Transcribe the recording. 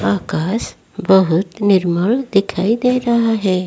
आकाश बहुत निर्मल दिखाई दे रहा है।